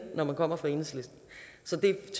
når man kommer fra enhedslisten så det